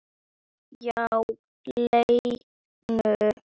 Já, Lenu.